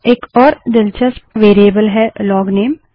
एक और दिलचस्प वेरिएबल है लोगनेम